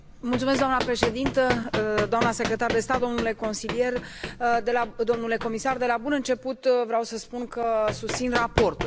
Doamnă președintă, doamnă secretar de stat, domnule consilier domnule comisar, de la bun început vreau să spun că susțin raportul.